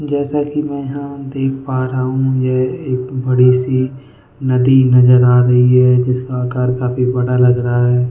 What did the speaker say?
जैसा कि मैं यहां देख पा रहा हूं यह एक बड़ी सी नदी नजर आ रही है जिसका आकार काफी बड़ा लग रहा है।